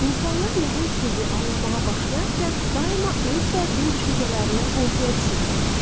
İnsanlar nəhəng sirri anlamağa başlayarkən daima öz bədbin düşüncələrindən qorxuya düşürlər.